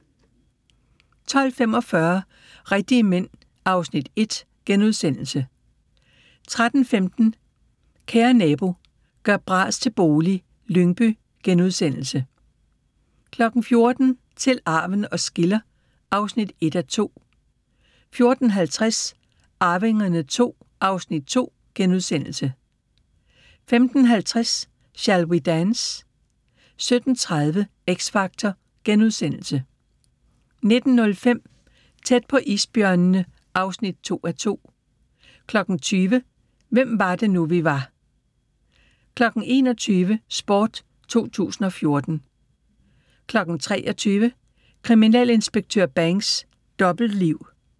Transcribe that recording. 12:45: Rigtige Mænd (Afs. 1)* 13:15: Kære nabo – gør bras til bolig - Lyngby * 14:00: Til arven os skiller (1:2) 14:50: Arvingerne II (Afs. 2)* 15:50: Shall We Dance? 17:30: X Factor * 19:05: Tæt på isbjørnene (2:2) 20:00: Hvem var det nu, vi var 21:00: Sport 2014 23:00: Kriminalinspektør Banks: Dobbeltliv